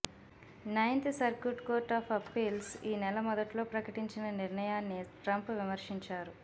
ninth circuit court of appeals ఈ నెల మొదట్లో ప్రకటించిన నిర్ణయాన్ని ట్రంప్ విమర్శించారు